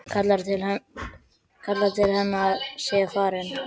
Kallar til hennar að hann sé farinn.